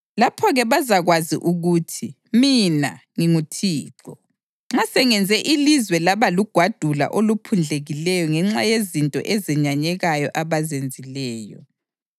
Lapho-ke bazakwazi ukuthi mina nginguThixo, nxa sengenze ilizwe laba lugwadule oluphundlekileyo ngenxa yezinto ezenyanyekayo abazenzileyo.’